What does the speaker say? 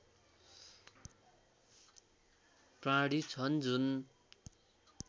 प्राणी छन् जुन